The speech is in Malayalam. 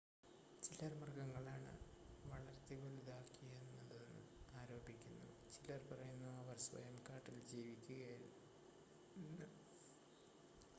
ചിലർ മൃഗങ്ങളാണ് വളർത്തിവലുതാക്കിയതെന്ന് ആരോപിക്കുന്നു ചിലർ പറയുന്നു അവർ സ്വയം കാട്ടിൽ ജീവിക്കുകയായിരുന്നു എന്ന്